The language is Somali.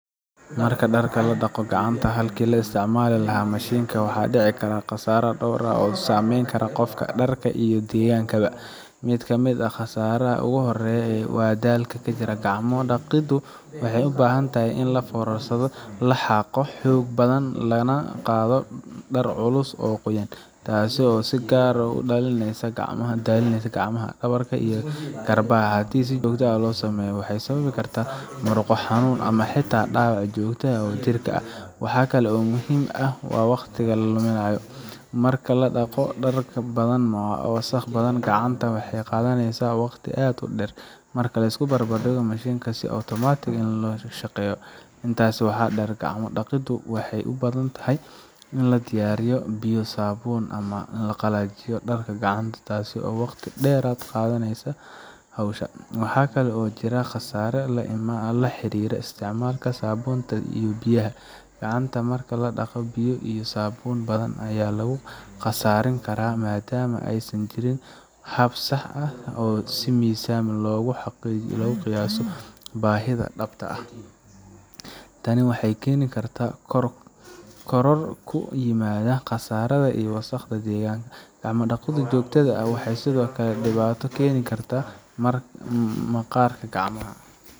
Marka dharka lagu dhaqo gacanta halkii laga isticmaali lahaa mashiinka, waxaa dhici kara khasaare dhowr ah oo saameyn kara qofka, dharka, iyo deegaanka. Mid ka mid ah khasaaraha ugu horreeya waa daalka jirka. Gacmo dhaqiddu waxay u baahan tahay in la foorarsado, la xaaqo xoog badan, lana qaado dhar culus oo qoyan, taasoo si gaar ah u daalisaa gacmaha, dhabarka iyo garbaha. Haddii si joogto ah loo sameeyo, waxay sababi kartaa murqo xanuun ama xitaa dhaawac joogto ah oo jidhka ah. Wax kale oo muhiim ah waa waqtiga la lumiya. Marka la dhaqo dhar badan ama wasakh badan, gacanta waxay qaadanaysaa waqti aad u dheer marka la barbar dhigo mashiinka oo si otomaatig ah u shaqeeya. Intaas waxaa dheer, gacmo dhaqiddu waxay u baahan tahay in la diyaariyo biyo, saabuun, lana qalajiyo dharka gacanta, taas oo waqti dheeraad ah ku kordhineysa howsha. Waxaa kale oo jira khasaare la xiriira isticmaalka saabuunta iyo biyaha. Gacanta marka la dhaqayo, biyo iyo saabuun badan ayaa lagu khasaarin karaa maadaama aysan jirin hab sax ah oo si miisaan leh loogu qiyaaso baahida dhabta ah. Tani waxay keeni kartaa koror ku yimaada kharashka iyo wasakhda deegaanka. Gacmo dhaqida joogtada ah waxay sidoo kale dhibaato u keeni kartaa maqaarka gacmaha